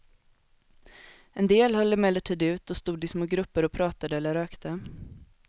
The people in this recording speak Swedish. En del höll emellertid ut och stod i små grupper och pratade eller rökte.